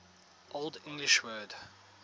old english word